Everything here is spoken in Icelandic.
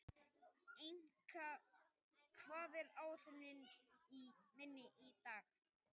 Enika, hvað er á áætluninni minni í dag?